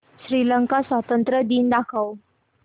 श्रीलंका स्वातंत्र्य दिन दाखव